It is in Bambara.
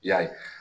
I y'a ye